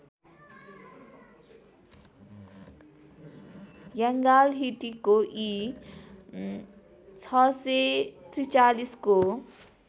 यङ्गालहिटीको इ ६४३ को